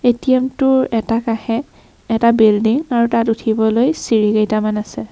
ATM টোৰ এটা কাষে এটা বিল্ডিং আৰু তাত উঠিবলৈ চিৰি কেইটামান আছে।